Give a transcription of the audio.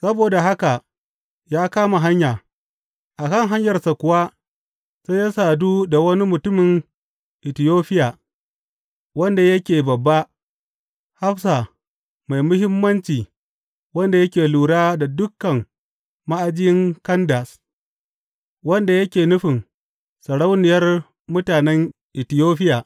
Saboda haka ya kama hanya, a kan hanyarsa kuwa sai ya sadu da wani mutumin Itiyofiya, wanda yake bābā, hafsa mai muhimmanci wanda yake lura da dukan ma’ajin Kandas wanda yake nufin sarauniyar mutanen Itiyofiya.